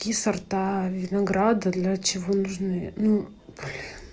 какие сорта винограда для чего нужны ну